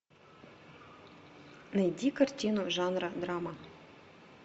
найди картину жанра драма